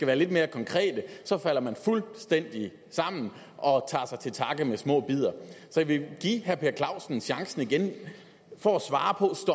være lidt mere konkret falder man fuldstændig sammen og tager til takke med små bidder så jeg vil give herre per clausen chancen igen for at svare på